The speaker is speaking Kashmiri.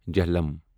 جہلَم